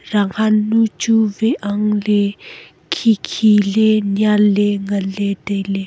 rang han nu chu veh ang ley khi khi ley nyan ley ngan ley tailey.